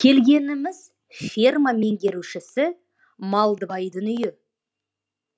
келгеніміз ферма меңгерушісі малдыбайдың үйі